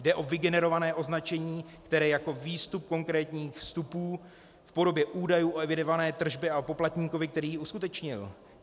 Jde o vygenerované označení, které jako výstup konkrétních vstupů v podobě údajů o evidované tržbě a poplatníkovi, který ji uskutečnil.